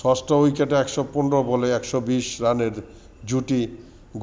ষষ্ঠ উইকেটে ১১৫ বলে ১২০ রানের জুটি